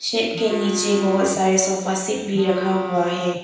Tent के नीचे बहोत सारे सोफा सेट भी रखा हुआ हैं।